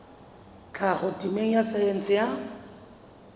tlhaho temeng ya saense ya